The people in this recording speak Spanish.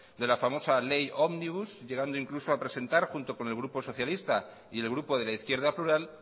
de la famosa ley omnibus llegando incluso a presentar junto con el grupo socialista y el grupo de la izquierda plural